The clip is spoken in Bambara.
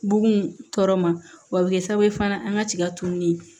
Bugun tɔɔrɔ ma wa a bɛ kɛ sababu ye fana an ka tiga tununi